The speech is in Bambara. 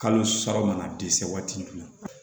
Kalo saba mana dɛsɛ waati jumɛn